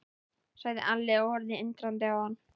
sagði Alli og horfði undrandi á hann.